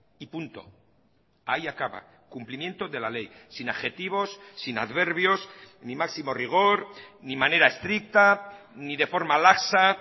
y punto ahí acaba cumplimiento de la ley sin adjetivos sin adverbios ni máximo rigor ni manera estricta ni de forma laxa